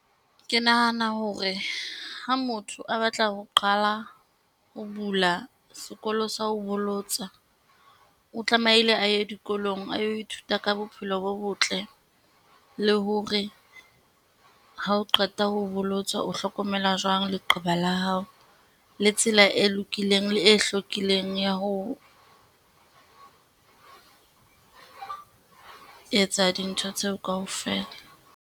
Ke nahana hore ha motho a batla ho qala ho bula sekolo sa ho bolotsa, o tlamehile a ye dikolong a yo ithuta ka bophelo bo botle, le hore ha o qeta ho bolotswa, o hlokomela jwang leqeba la hao? Le tsela e lokileng le e hlakileng ya ho etsa dintho tseo kaofela.